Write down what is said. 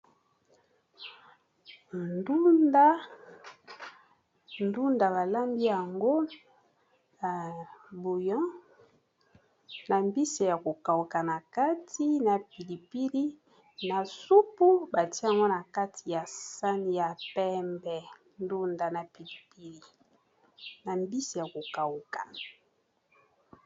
Ndunda, balambi yango ya buyon, na mbisi ya kokauka na kati, na pilipili, na supu batye yango na kati ya sani ya pembe, na mbisi ya kokauka.